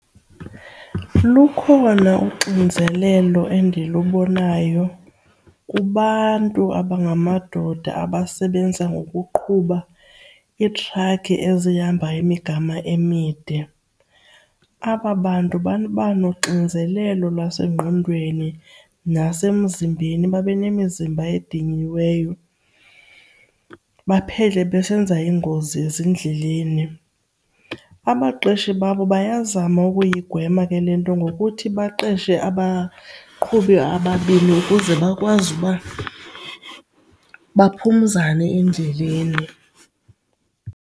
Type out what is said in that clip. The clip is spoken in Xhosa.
Lukhona uxinzelelo endilubonayo kubantu abangamadoda abasebenza ngokuqhuba iitrakhi ezihamba imigama emide. Aba bantu baba noxinzelelo lwasengqondweni nasemzimbeni, babe nemizimba ediniweyo baphele besenza iingozi ezindleleni. Abaqeshi babo bayazama ukuyigwema ke le nto ngokuthi baqeshe abaqhubi ababini ukuze bakwazi uba baphumzane endleleni.